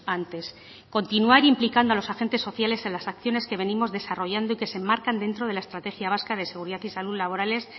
antes continuar implicando a los agentes sociales en las acciones que venimos desarrollando y que se enmarcan dentro de la estrategia vasca de seguridad y salud laborales